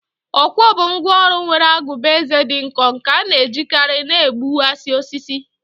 ọkwọ bụ ngwá ọrụ nwere agụba ezé dị nkọ nke a na-ejikarị na-egbuwasi osisi